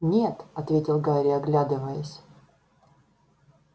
нет ответил гарри оглядываясь